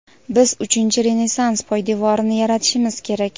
Biz uchinchi renessans poydevorini yaratishimiz kerak.